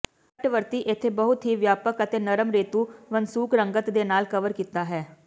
ਤੱਟਵਰਤੀ ਇੱਥੇ ਬਹੁਤ ਹੀ ਵਿਆਪਕ ਅਤੇ ਨਰਮ ਰੇਤ ਵਸੂੰਕ ਰੰਗਤ ਦੇ ਨਾਲ ਕਵਰ ਕੀਤਾ ਹੈ